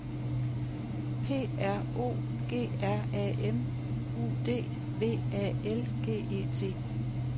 P R O G R A M U D V A L G E T